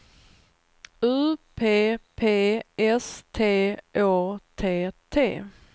U P P S T Å T T